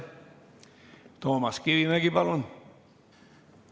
Toomas Kivimägi, palun!